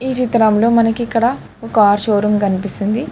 ఈ చిత్రంలో మనకిక్కడ కార్ షోరూమ్ కనిపిస్తోంది.